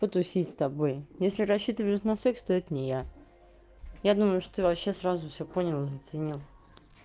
потусить с тобой если рассчитываешь на секс то это не я я думаю что ты вообще сразу всё понял и заценил